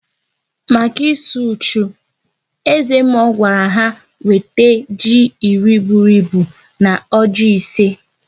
Maka ịsụ uchu, eze mmụọ gwara ha wete ji iri bụrụ ịbụ na ọjị ise